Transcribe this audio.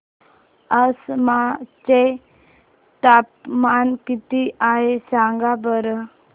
आसाम चे तापमान किती आहे सांगा बरं